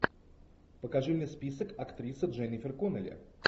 покажи мне список актриса дженнифер коннелли